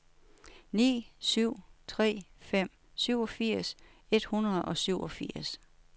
ni syv tre fem syvogfirs et hundrede og syvogfirs